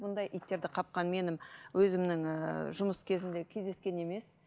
бұндай иттерді қапқан менің өзімнің ііі жұмыс кезімде кездескен емес